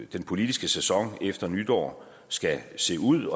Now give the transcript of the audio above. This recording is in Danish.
den politiske sæson efter nytår skal se ud